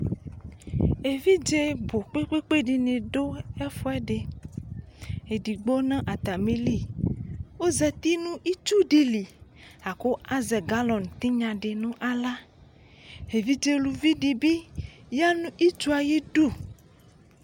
Evidze bu kpekpe dini du ɛfuɛdi edigbo natami li ɔzati nu itsudii li la ku azɛ galoni tinya di nu aɣla evidze uluvi di bi yanu itsue ayi du